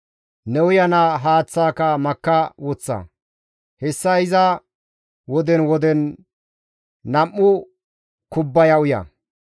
Ne uyana haaththaaka makka woththa; hessa iza woden woden nam7u kubbaya uya.